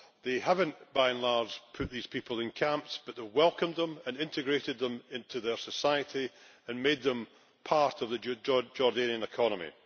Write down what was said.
They have not, by and large, put these people in camps, but have welcomed them and integrated them into their society and made them part of the Jordanian economy.